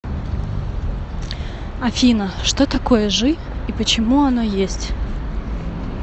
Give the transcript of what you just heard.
афина что такое жи и почему оно есть